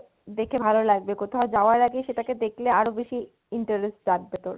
দেখে ভালো লাগবে, কোথাও যাওয়ার আগে সেটাকে দেখলে আরো বেশি ইন্টারেস্ট জাগবে তোর